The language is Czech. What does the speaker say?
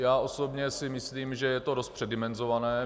Já osobně si myslím, že je to dost předimenzované.